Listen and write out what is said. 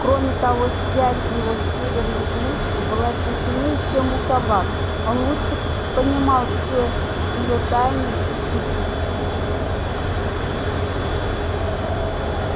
кроме того связь его с северной глушью была теснее чем у собак он лучше понимал всё её тайны и хитрости